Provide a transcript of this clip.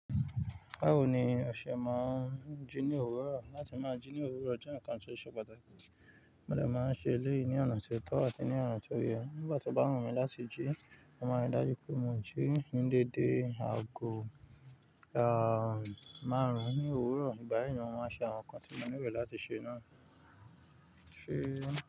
Báwo ni ọṣẹ máa ń jí ní òwúrọ̀? Láti máa jí ní òwúrọ̀, ó jẹ́ nǹkan tí ó ṣe pàtàkì. Mode máa ń ṣe eléyì ní ọ̀nà tóòtọ́ àti ọ̀nà tí oyẹ́ nígbà tí obá wùmí láti jí. Mo máa nrí dájú pé mo jí ní dédé ago márùn ní òwúrọ̀. Ìgbàyì ni mo máa nṣe àwọn ǹkan tí mo ní lò láti ṣe.